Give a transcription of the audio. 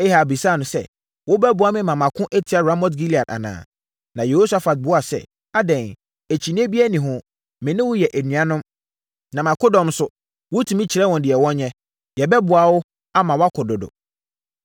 Ahab bisaa no sɛ, “Wobɛboa me na mako atia Ramot-Gilead anaa?” Na Yehosafat buaa sɛ, “Adɛn, akyinnyeɛ biara nni ho. Me ne wo yɛ anuanom, na mʼakodɔm nso, wotumi kyerɛ wɔn deɛ wɔnyɛ. Yɛbɛboa wo, ama woako dodo.”